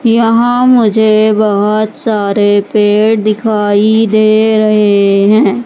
यहां मुझे बहोत सारे पेड़ दिखाई दे रहे हैं।